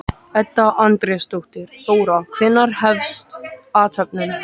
Edda Andrésdóttir: Þóra, hvenær hefst athöfnin?